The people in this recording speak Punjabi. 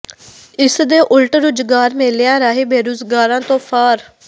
ਇਸ ਦੇ ਉਲਟ ਰੁਜ਼ਗਾਰ ਮੇਲਿਆਂ ਰਾਹੀਂ ਬੇਰੁਜ਼ਗਾਰਾਂ ਤੋਂ ਫਾਰ